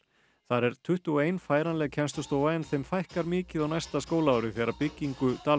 þar er tuttugu og einn færanleg kennslustofa en þeim fækkar mikið á næsta skólaári þegar byggingu